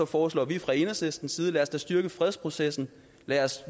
foreslår vi fra enhedslistens side lad os da styrke fredsprocessen lad os